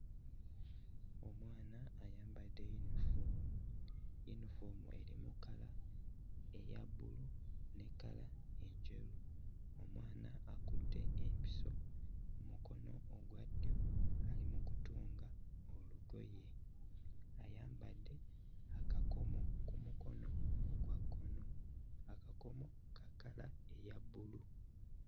Omwana ayambadde yunifoomu, yunifoomu erimu kkala eya bbulu ne kkala enjeru. Omwana akutte empiso mu mukono ogwa ddyo ali mu kutunga olugoye. Ayambadde akakomo ku mukono ogwa kkono; akakomo ka kkala eya bbulu.